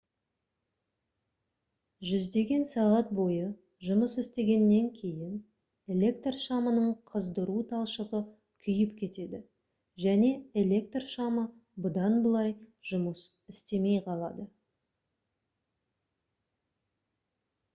жүздеген сағат бойы жұмыс істегеннен кейін электр шамының қыздыру талшығы күйіп кетеді және электр шамы бұдан былай жұмыс істемей қалады